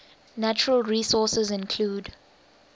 natural resources include